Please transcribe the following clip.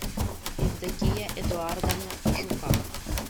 евдокия эдуардовна жукова